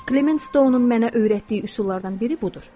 Klement Stonun mənə öyrətdiyi üsullardan biri budur.